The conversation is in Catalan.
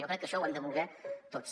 jo crec que això ho hem de voler tots